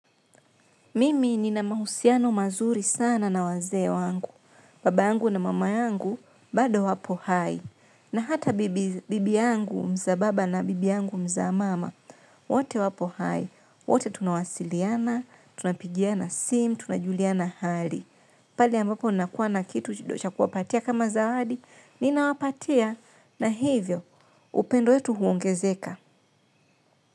Mimi nina mahusiano mazuri sana na wazee wangu, baba yangu na mama yangu, bado wapo hai, na hata bibi yangu mzaa baba na bibi yangu mzaa mama, wote wapo hai, wote tunawasiliana, tunapigiana simu, tunajuliana hali. Pahali ambapo nakuwa na kitu cha kuwapatia kama zawadi, ninawapatia na hivyo upendo yetu huongezeka.